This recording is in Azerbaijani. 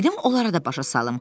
Gedim onlara da başa salım.